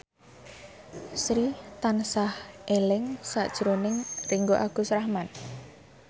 Sri tansah eling sakjroning Ringgo Agus Rahman